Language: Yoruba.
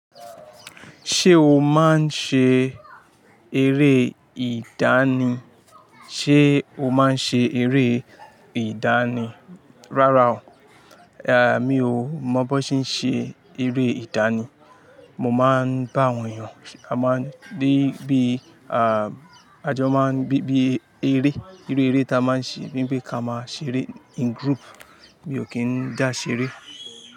Ṣé o máa ń ṣe eré ìdánì? Ṣé o máa ń ṣe eré ìdánì? Rárá o, mi ò mọ bó ṣe ń ṣe eré ìdánì. Mo máa ń bá àwọn èèyàn ṣe-- a máa ń dé bí, ajọ máa ń bí, bí eré, irú eré tí a máa ń ṣe, bí pé ká máa ṣeré in group. Mi ò kí ń dá ṣeré.